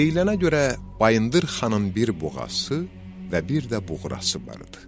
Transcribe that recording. Deyilənə görə Bayındır xanın bir buğası və bir də buğrası var idi.